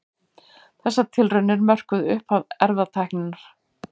Þessar tilraunir mörkuðu upphaf erfðatækninnar.